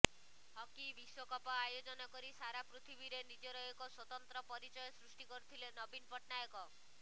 hockey ବିଶ୍ୱକପ ଆୟୋଜନ କରି ସାରା ପୃଥିବୀରେ ନିଜର ଏକ ସ୍ୱତନ୍ତ୍ର ପରିଚୟ ସୃଷ୍ଟି କରିଥିଲେ ନବୀନ ପଟ୍ଟନାୟକ